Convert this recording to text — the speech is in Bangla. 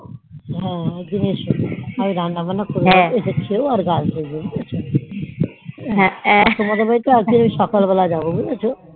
হ্যান একদিন এস আর রান্না বান্না করে খেয়ো আর গাছ দেখো তোমাদের বাড়িতে একদিন সকাল বেলা জবাব বুঝেছো